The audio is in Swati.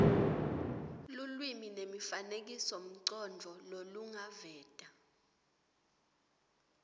lulwimi nemifanekisomcondvo lolungaveta